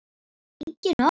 Engin orð.